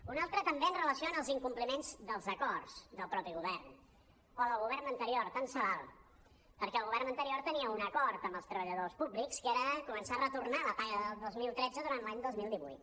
una altra també amb relació als incompliments dels acords del mateix govern o del govern anterior tant se val perquè el govern anterior tenia un acord amb els treballadors públics que era començar a retornar la paga del dos mil tretze durant l’any dos mil divuit